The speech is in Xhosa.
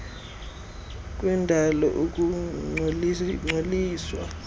ukungcoliswa kwendalo ukungcoliswa